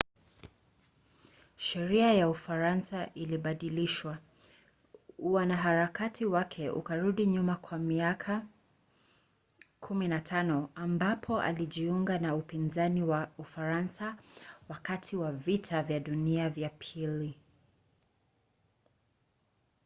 sheria ya ufaransa ilibadilishwa. uanaharakati wake ukarudi nyuma kwa miaka 15 ambapo alijiunga na upinzani wa ufaransa wakati wa vita vya dunia vya ii